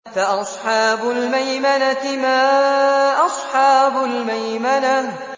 فَأَصْحَابُ الْمَيْمَنَةِ مَا أَصْحَابُ الْمَيْمَنَةِ